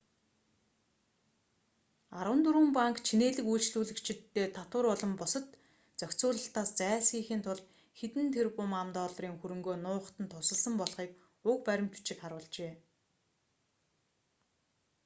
арван дөрвөн банк чинээлэг үйлчлүүлэгчиддээ татвар болон бусад зохицуулалтаас зайлсхийхийн тулд хэдэн тэрбум ам.долларын хөрөнгөө нуухад нь тусалсан болохыг уг баримт бичиг харуулжээ